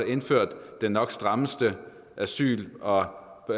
indført den nok strammeste asyl og og